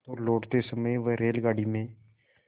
तो लौटते समय वह रेलगाडी में